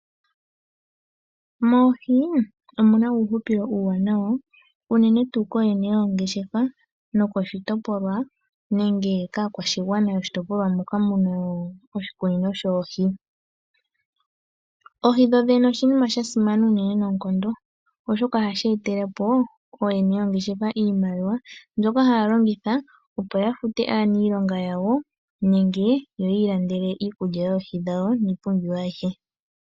Moohi omu na uuhupilo uuwanawa, unene tuu kooyene yoongeshefa, nokoshitopolwa nenge kaakwashigwana yomoshitopolwa moka mu na oshikunino shoohi. Oohi dhodhene oshinima sha simana unene noonkondo, oshoka ohashi etele ooyene yoongeshefa iimaliwa, mbyoka haya longitha opo ya fute aaniilonga yawo nenge yiillandele iikulya yoohi dhawo niipumbiwa ayihe.